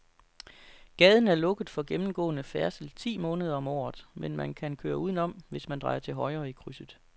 Gaden er lukket for gennemgående færdsel ti måneder om året, men man kan køre udenom, hvis man drejer til højre i krydset.